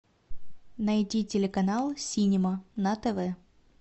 найти телеканал синема на тв